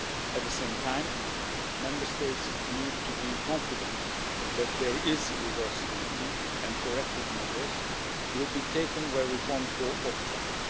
At the same time, Member States need to be confident that there is reversibility and corrective measures will be taken where reforms go off track.